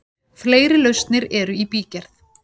Fleiri lausnir eru í bígerð.